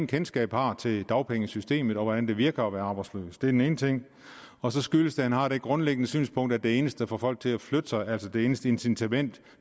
kendskab har til dagpengesystemet og hvordan det virker at være arbejdsløs den ene ting og så skyldes det at han har det grundlæggende synspunkt at det eneste der får folk til at flytte sig at det eneste incitament